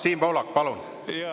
Siim Pohlak, palun!